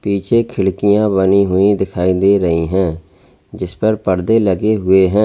पीछे खिड़कियां बनी हुई दिखाई दे रही हैं जिस पर परदे लगे हुए हैं।